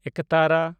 ᱮᱠᱛᱟᱨᱟ